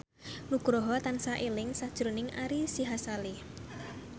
Nugroho tansah eling sakjroning Ari Sihasale